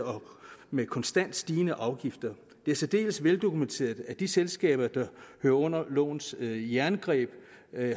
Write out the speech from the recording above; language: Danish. med konstant stigende afgifter det er særdeles veldokumenteret at de selskaber der hører under lovens jerngreb